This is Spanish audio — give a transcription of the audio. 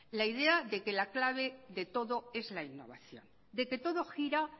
la idea de que la clave de todo es la innovación de que todo gira